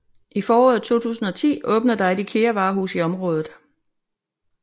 I foråret 2010 åbnede der et IKEA varehus i området